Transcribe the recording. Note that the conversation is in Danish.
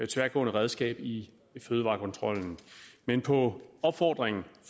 tværgående redskab i fødevarekontrollen men på opfordring